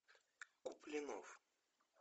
куплинов